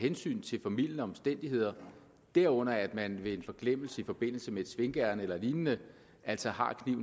hensyn til formildende omstændigheder derunder at man ved en forglemmelse i forbindelse med et svinkeærinde eller lignende altså